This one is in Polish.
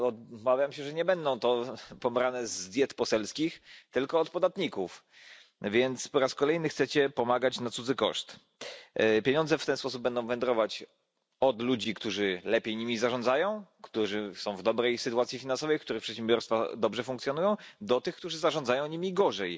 Obawiam się, że nie będą pobrane z diet poselskich, tylko od podatników, więc po raz kolejny chcecie pomagać na cudzy koszt. Pieniądze w ten sposób będą wędrować od ludzi, którzy lepiej nimi zarządzają, którzy są w dobrej sytuacji finansowej, których przedsiębiorstwa dobrze funkcjonują, do tych, którzy zarządzają nimi gorzej.